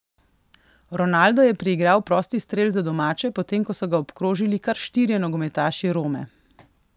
Ronaldo je priigral prosti strel za domače, potem ko so ga obkrožili kar štirje nogometaši Rome.